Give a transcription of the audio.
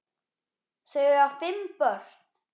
Þau eiga fimm börn